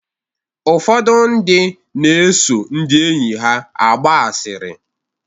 Ụfọdụ ndị na-eso ndị enyi ha agba asịrị.